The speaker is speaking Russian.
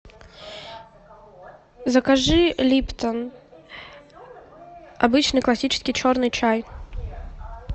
закажи липтон обычный классический черный чай